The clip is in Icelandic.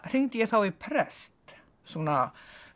hringdi ég þá í prest svona